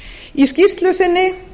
í skýrslu sinni